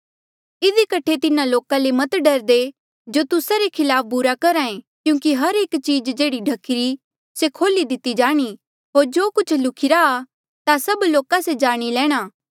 इधी कठे तिन्हा लोका ले मत डरदे जो तुस्सा रे खिलाफ बुरा करहा ऐें क्यूंकि हर एक चीज़ जेह्ड़ी ढख्ही री से खोली दिती जाणी होर जो कुछ लुख्ही रा ता सब लोका से जाणी लेणा